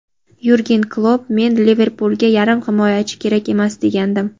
Yurgen Klopp: "Men "Liverpul"ga yarim himoyachi kerak emas, degandim.